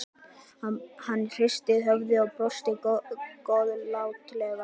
Hann hristi höfuðið og brosti góðlátlega.